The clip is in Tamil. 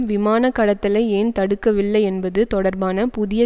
விமானக்கடத்தலை ஏன் தடுக்கவில்லை என்பது தொடர்பான புதிய